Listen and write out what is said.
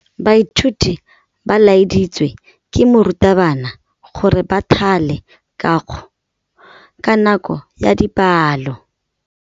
Baithuti ba laeditswe ke morutabana gore ba thale kagô ka nako ya dipalô.